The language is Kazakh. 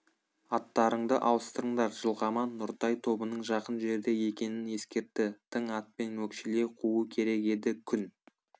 аттарыңды ауыстырыңдар жылқаман нұртай тобының жақын жерде екенін ескертті тың атпен өкшелей қуу керек еді күн